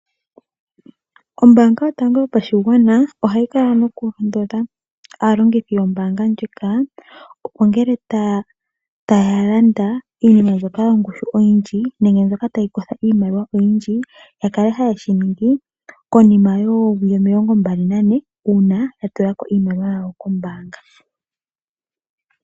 Ombaanga yotango yopashigwana ohayi kala nokulondodha aalongithi yombaanga ndjika, opo ngele taya landa iinima mbyoka yongushu oyindji nenge mbyoka tayi kotha iimaliwa oyindji, ya kale haye shi ningi konima yoowili omilongo 24 uuna ya tula ko iimaliwa yawo kombaanga.